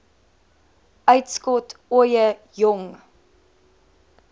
uitskot ooie jong